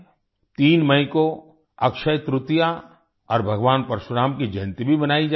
3 मई को अक्षय तृतीया और भगवान परशुराम की जयंती भी मनाई जाएगी